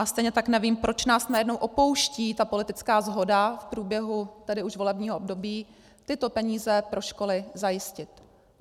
A stejně tak nevím, proč nás najednou opouští ta politická shoda v průběhu tedy už volebního období tyto peníze pro školy zajistit.